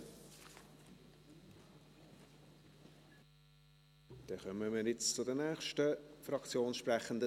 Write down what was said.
Dann kommen wir nun zu den nächsten Fraktionssprechenden: